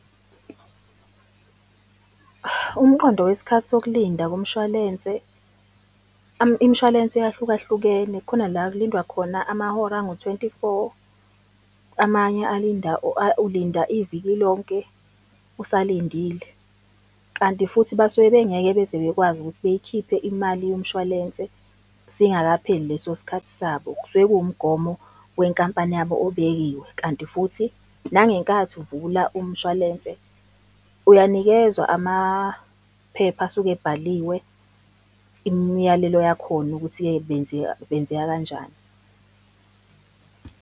Umqondo wesikhathi sokulinda komshwalense, imishwalense yahlukahlukene khona la kulindwa khona amahora angu-twenty-four, amanye alinda ulinda iviki lonke usalindile. Kanti futhi basuke bengeke beze bekwazi ukuthi beyikhiphe imali yomshwalense singakapheli leso sikhathi sabo, kusuke kuwumgomo wenkampani yabo obekiwe. Kanti futhi nangenkathi uvula umshwalense uyanikezwa amaphepha asuke ebhaliwe imiyalelo yakhona ukuthi-ke benzeka benzeka kanjani.